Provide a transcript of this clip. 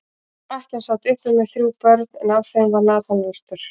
Ekkjan sat uppi með þrjú börn, en af þeim var Nathan elstur.